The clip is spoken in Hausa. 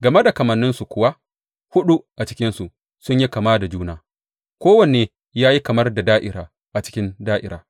Game da kamanninsu kuwa, huɗu a cikinsu sun yi kama da juna; kowanne ya yi kamar da da’ira a cikin da’ira.